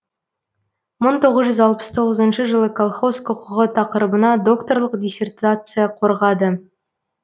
мың тоғыз жүз алпыс тоғызыншы жылы колхоз құқығы тақырыбына докторлық диссертация қорғады